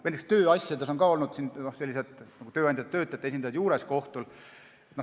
Näiteks on tööasjades olnud tööandjate ja töötajate esindajad kohtus juures.